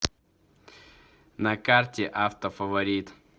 на карте автофаворит